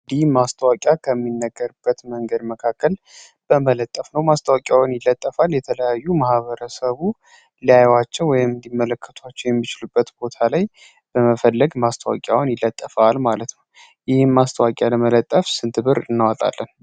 ይህ ማስታወቂያ ከሚነገርበት መንገዶች መካከል ማስታወቂያውን መለጠፍ ነው። የተለያዩ ለማህበረሰቡ ሊያቸው ወይም ሊመለከታቸው የሚችሉበት ቦታዎች ላይ በመፈለግ ማስታወቂያው ይለጠፋል ማለት ነው። ይህ ማስታወቂያ ለመለጠፍ ስንት ብር እናወጣለን?